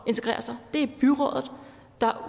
integrere sig det er udelukkende byrådet der